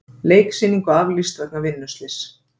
Leiksýningu aflýst vegna vinnuslyss